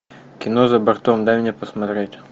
кино за бортом дай мне посмотреть